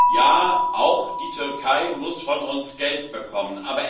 Ja, auch die Türkei muss von uns Geld bekommen.